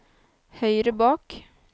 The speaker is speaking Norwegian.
høyre bak